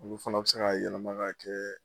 O fana bi se ka yɛlɛma ka kɛ